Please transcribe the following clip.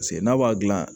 Paseke n'a b'a dilan